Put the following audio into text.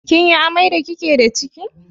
Kin yi amai da ki ke da ciki?